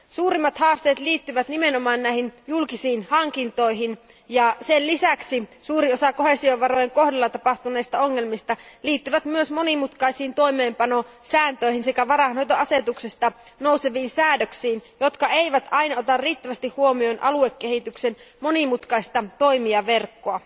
Suurimmat haasteet liittyvät nimenomaan julkisiin hankintoihin ja sen lisäksi suurin osa koheesiovarojen kohdalla tapahtuneista ongelmista liittyy myös monimutkaisiin toimeenpanosääntöihin sekä varainhoitoasetuksesta nouseviin säädöksiin, joissa ei aina oteta riittävästi huomioon aluekehityksen monimutkaista toimijaverkkoa.